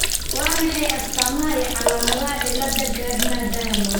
Waa maxay astamaha iyo calaamadaha cilada Gardner Diamond ?